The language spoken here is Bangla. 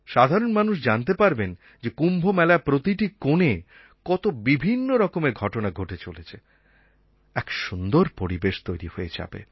সাধারণ মানুষ জানতে পারবেন যে কুম্ভমেলার প্রতিটি কোণে কত বিভিন্ন রকমের ঘটনা ঘটে চলেছে এক সুন্দর পরিবেশ তৈরি হয়ে যাবে